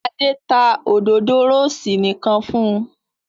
Adé ta òdòdó rósì nìkan fún un.